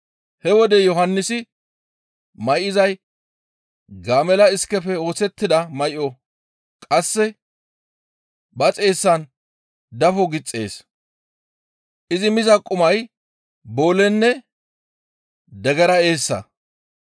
He wode Yohannisi may7izay gaamella iskefe oosettida may7o; qasse ba xeessan dafo gixxees; izi miza qumay boolenne degera eessa.